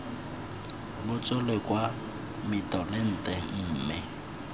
bo tswele kwa mitolente mme